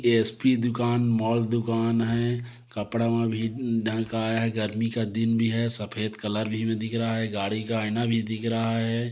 SP दुकान mall दुकान है कपड़ा मा भी ढंग का आया है गर्मी का दिन भी है सफ़ेद कलर भी दिख रहा है गाड़ी का आईना भी दिख रहा हैं।